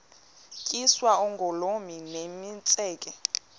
tyiswa oogolomi nemitseke